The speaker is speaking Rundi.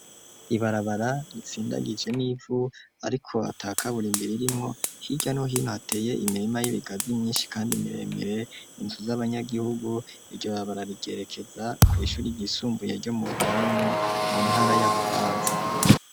Ibarabara ritsindagije n'ivu ariko ata kaburimbo irimwo hirya no hinoh ateye imirima y'ibigazi myinshi kandi miremire inzu z'abanyagihugu iryo barabara ryerekeza ku ishure ryisumbuye ryo mu rukaramo mu ntara ya bubanza.